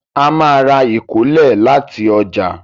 A má ra ìkólẹ̀ láti ọjà